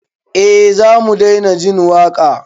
Eh zamu daina jin waƙa